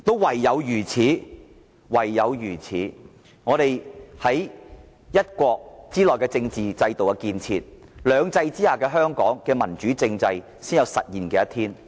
唯有如此，我們在一國之內的政治制度建設，兩制之下的香港的民主政制發展才有實現的一天。